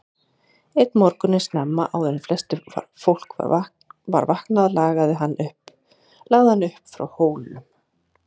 Einn morgun snemma, áður en flest fólk var vaknaði lagði hann upp frá Hólum.